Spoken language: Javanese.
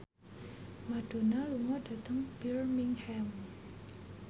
Madonna lunga dhateng Birmingham